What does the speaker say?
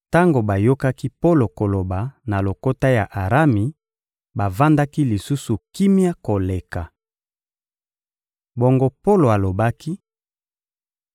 Tango bayokaki Polo koloba na lokota ya Arami, bavandaki lisusu kimia koleka. Bongo, Polo alobaki: